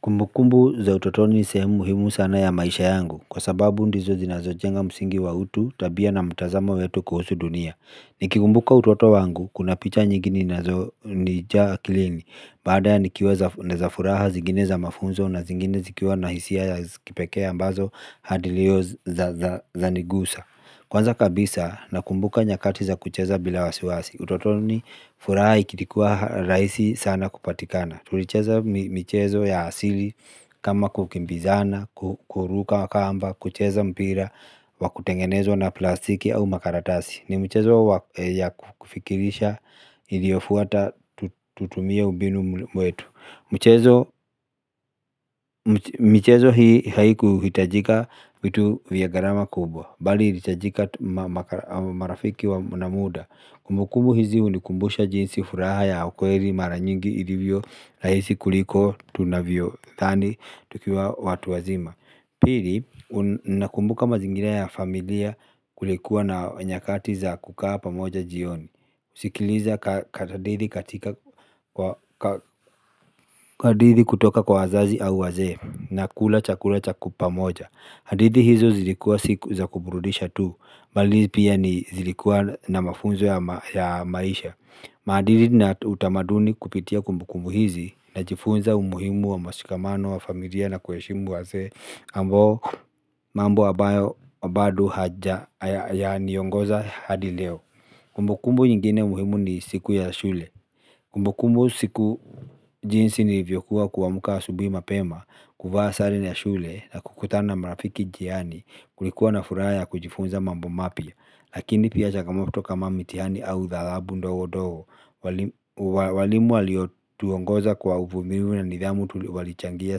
Kumbukumbu za utotoni ni sehemu muhimu sana ya maisha yangu kwa sababu ndizo zinazojenga msingi wa utu tabia na mtazamo wetu kuhusu dunia. Nikikumbuka utoto wangu kuna picha nyingi ninazo nijaa akilini baadhi zikiwa za furaha na zingine za mafunzo na zingine zikiwa na hisia ya kipekee ambazo hadi leo zanigusa. Kwanza kabisa nakumbuka nyakati za kucheza bila wasiwasi. Utotoni furaha ikilikuwa rahisi sana kupatikana. Tulicheza mchezo ya asili kama kukimbizana, kuruka kamba, kucheza mpira, wa kutengenezwa na plastiki au makaratasi. Ni mchezo ya kufikirisha iliyofuata tutumie ubinu mwetu. Mchezo hii haikuhitajika vitu vya gharama kubwa, bali ilihitajika marafiki na muda muda kumbukumbu hizi hunikumbusha jinsi furaha ya ukweli mara nyingi ilivyorahisi kuliko tunavyodhani tukiwa watu wazima. Pili unakumbuka mazingina ya familia kulikuwa na nyakati za kukaa pamoja jioni. Sikiliza kahadidhi katika hadithi kutoka kwa wazazi au wazee nakula chakula cha ku pamoja. Hadithi hizo zilikuwa siku za kuburudisha tu bali pia ni zilikuwa na mafunzo ya maisha. Maadili na utamaduni kupitia kumbukumbu hizi. Najifunza umuhimu wa mashikamano wa familia na kuheshimu wazee ambao mambo abayo bado haja yaniongoza hadi leo. Kumbukumbu nyingine muhimu ni siku ya shule. Kumbukumbu siku jinsi nilivyokuwa kuwamka asubuhi mapema. Kuvaa sare ni ya shule na kukutana na marafiki njiani kulikuwa na furaha ya kujifunza mambo mapya. Lakini pia changamoto kama mitihani au dhalabu ndowo-dowo. Walimu waliotuongoza kwa uvumilivu na nidhamu walichangia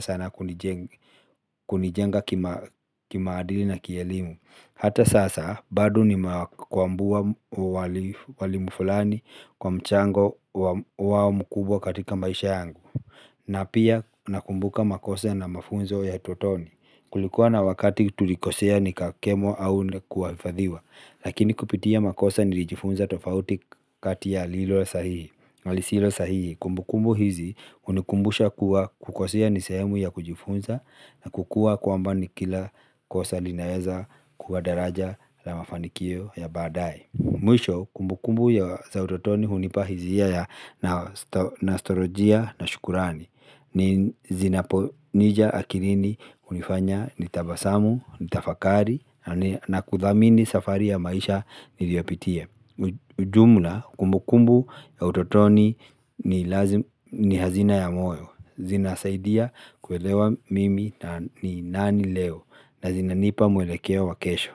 sana kunijenga kimaadili na kielimu. Hata sasa bado ni kwambua walimu fulani kwa mchango wao mkubwa katika maisha yangu na pia nakumbuka makosa na mafunzo ya utotoni. Kulikuwa na wakati tulikosea ni kakemo au kuafadhiwa. Lakini kupitia makosa nilijifunza tofauti kati ya lilo sahihi na lisilo sahihi. Kumbukumbu hizi hunikumbusha kuwa kukosea ni sehemu ya kujifunza na kukua kwamba ni kila kosa linaeza kuwa daraja la mafanikio ya baadae. Mwisho kumbukumbu ya utotoni hunipa hisia ya nastorojia na shukurani. Ni zinaponija akilini hunifanya nitabasamu, nitafakari na kuthamini safari ya maisha niliyopitia ujumla kumbukumbu ya utotoni ni hazina ya moyo. Zinasaidia kuelewa mimi na ni nani leo na zinanipa mwelekeo wa kesho.